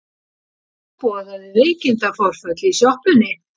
Hún boðaði veikindaforföll í sjoppunni.